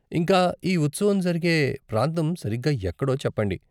ఇంకా, ఈ ఉత్సవం జరిగే ప్రాంతం సరిగ్గా ఎక్కడో చెప్పండి.